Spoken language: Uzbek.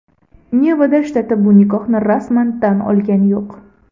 Nevada shtati bu nikohni rasman tan olgani yo‘q.